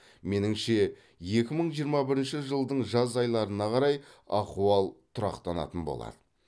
меніңше екі мың жиырма бірінші жылдың жаз айларына қарай ахуал тұрақтанатын болады